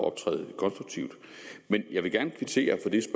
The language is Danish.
optræde lidt konstruktivt men jeg vil gerne kvittere for det